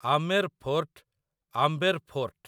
Amer Fort, Amber fort